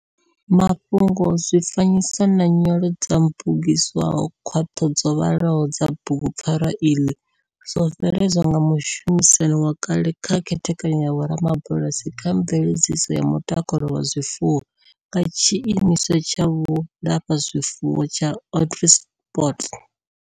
Mafhungo, zwifanyiso na nyolo dzo mmbugedziswaho khaṱho dzo vhaḽaho dza bugupfarwa iḽi zwo veledzwa nga mushumisani wa kale kha Khethekanyo ya Vhorubalasi kha Mveledziso ya Mutakalo wa Zwifuwo wa Tshimiswa tsha Vhulafha zwifuwo tsha Onderstepoort.